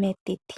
metiti.